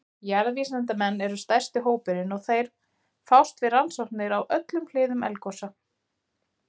Jarðvísindamenn eru stærsti hópurinn og þeir fást við rannsóknir á öllum hliðum eldgosa.